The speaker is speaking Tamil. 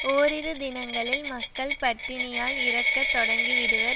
ஓரிரு தினங்களில் மக்கள் பட்டினியால் இறக்க தொடங்கிவிடுவர்